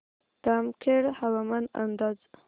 जामखेड हवामान अंदाज